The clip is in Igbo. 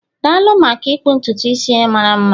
daalụ maka ịkpụ ntutu a mara mma